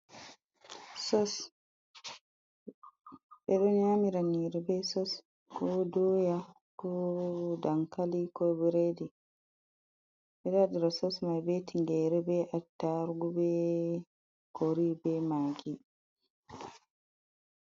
Sos ɓe ɗo nyamira nyiri be sos, ko doya, ko dankali, ko bredi. Ɓeɗo waɗira sos mai be tingare, be attarugu be cori, be magi.